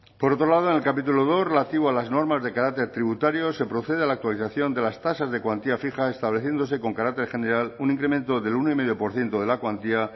por otro lado en el capítulo dos relativo a las normas de carácter tributario se procede a la actualización de las tasas de cuantía fija estableciéndose con carácter general un incremento del uno coma cinco por ciento de la cuantía